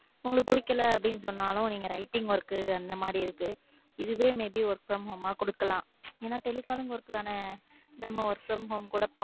உங்களுக்கு பிடிக்கல அப்படின்னு சொன்னாலும் நீங்க writing work அந்த மாதிரி இருக்கு இதுவே may be work from home கொடுக்கலாம். ஏன்னா, telephone கொடுக்குறதுக்கான நம்ம work from home கூட